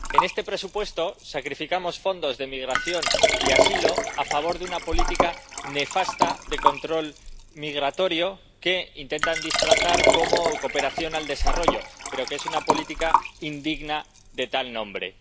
En este presupuesto sacrificamos fondos de migración y asilo a favor de una política nefasta de control migratorio que intentan disfrazar como cooperación al desarrollo, pero que es una política indigna de tal nombre.